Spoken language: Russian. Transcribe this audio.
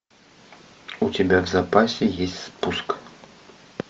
у тебя в запасе есть спуск